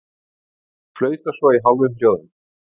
Flauta svo í hálfum hljóðum.